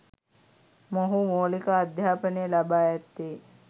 මොහු මූලික අධ්‍යාපනය ලබා ඇත්තේ